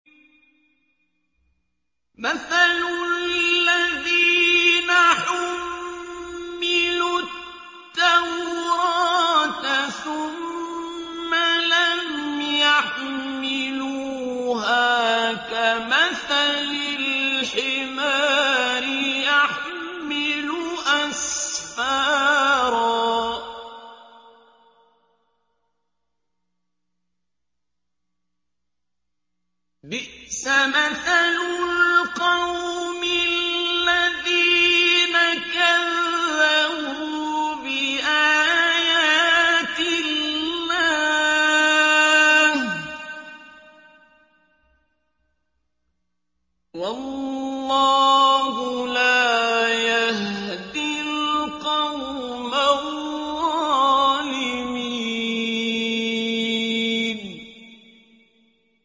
مَثَلُ الَّذِينَ حُمِّلُوا التَّوْرَاةَ ثُمَّ لَمْ يَحْمِلُوهَا كَمَثَلِ الْحِمَارِ يَحْمِلُ أَسْفَارًا ۚ بِئْسَ مَثَلُ الْقَوْمِ الَّذِينَ كَذَّبُوا بِآيَاتِ اللَّهِ ۚ وَاللَّهُ لَا يَهْدِي الْقَوْمَ الظَّالِمِينَ